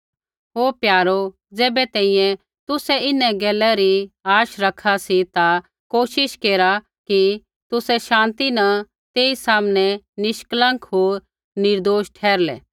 हे प्यारो ज़ैबै तैंईंयैं तुसै इन्हां गैला री आशा रखा सी ता कोशिश केरा कि तुसै शान्ति न तेई सामनै निष्कलंक होर निर्दोष ठहरलै